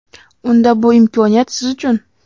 Unda bu imkoniyat siz uchun.